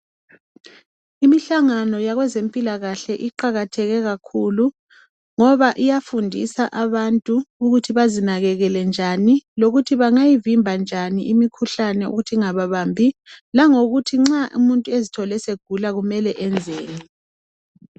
Imihlangano yabezempilakahle iqakatheke kakhulu ngoba iyafundisa abantu ukuthi bazinakekele njani lokuthi bangavimba njani imikhuhlane ukuthi ingababambi langokuthi nxa umuntu esezithole egula kumele enzeni.